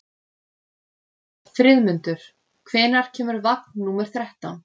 Friðmundur, hvenær kemur vagn númer þrettán?